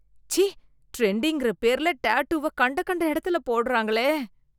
ச்சீ, ட்ரெண்டிங்ன்ற பேர்ல டாட்டூவ கண்ட கண்ட எடுத்துல போடுறாங்களே.